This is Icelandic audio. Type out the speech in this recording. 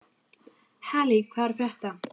Halley, hvað er að frétta?